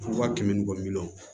Wa kɛmɛ ni kɔ miliyɔn